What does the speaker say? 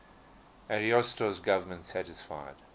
ariosto's government satisfied